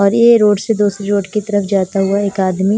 और ये रोड से दूसरी रोड की तरफ जाता हुआ एक आदमी--